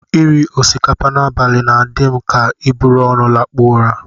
Iri osikapa n'abalị na-adị m ka iburu ọnụ lakpuo ụra